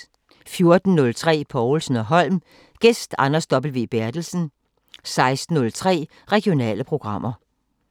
14:03: Povlsen & Holm: Gæst Anders W. Berthelsen 16:03: Regionale programmer